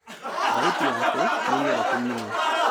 Thauti yake nĩ nyoroku mũno